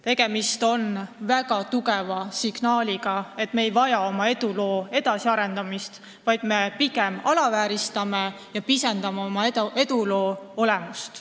Tegemist on väga tugeva signaaliga, et me ei vaja oma eduloo edasiarendamist, vaid pigem alavääristame ja pisendame oma eduloo olemust.